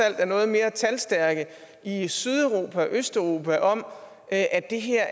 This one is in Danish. er noget mere talstærke i sydeuropa og østeuropa om at det her